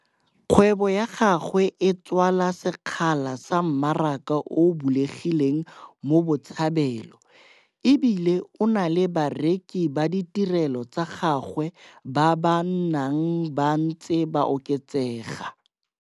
Kgwebo ya gagwe e tswala sekgala sa mmaraka o o bulegileng mo Botshabelo e bile o na le bareki ba ditirelo tsa gagwe ba ba nnang ba ntse ba oketsega.